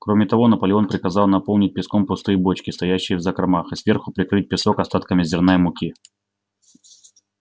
кроме того наполеон приказал наполнить песком пустые бочки стоящие в закромах и сверху прикрыть песок остатками зерна и муки